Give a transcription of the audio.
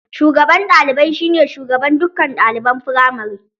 Shugaban ɗalibai shi ne shugaban dukkan ɗaliban firamare